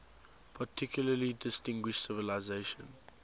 particularly distinguished civilization